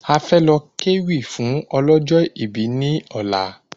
A fẹ́ lọ ké wí fún ọlọ́jọ̀ ibí ní ọ̀la